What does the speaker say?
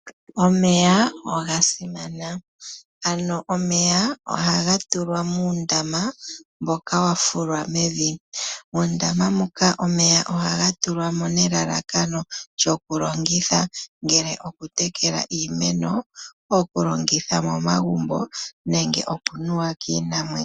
Omeya oga simana. Ano omeya ohaga tulwa muundama mboka wafulwa mevi. Muundama moka omeya ohaga tulwa mo nelalakano lyokulongitha ngele okutekela iimeno, okulongitha momagumbo, nenge okunuwa kiinamwenyo.